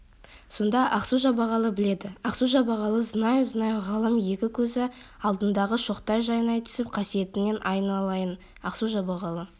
сонда ақсу-жабағылы біледі ақсу-жабағылы знаю знаю ғалым екі көзі алдындағы шоқтай жайнай түсіп қасиетіңнен айналайын ақсу-жабағылы